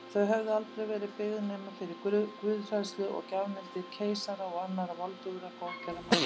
Þau hefðu aldrei verið byggð nema fyrir guðhræðslu og gjafmildi keisara og annarra voldugra góðgerðamanna.